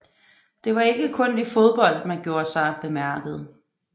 Det var ikke kun i fodbold man gjorde sig bemærket